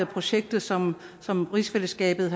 projektet som som rigsfællesskabet